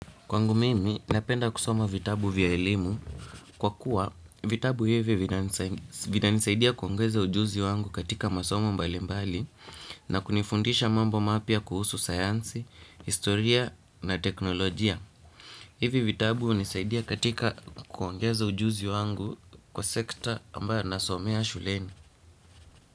Kwangu mimi, napenda kusoma vitabu vya elimu kwa kuwa vitabu hivi vinanisaidia kuongeza ujuzi wangu katika masomo mbalimbali na kunifundisha mambo mapya kuhusu sayansi, historia na teknolojia. Hivi vitabu hunisaidia katika kuongeza ujuzi wangu kwa sekta ambayo nasomea shuleni.